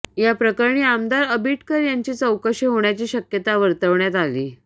याप्रकरणी आमदार आबिटकर यांची चौकशी होण्याची शक्यता वर्तवण्यात आली